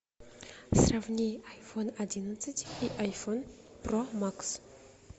сравни айфон одиннадцать и айфон про макс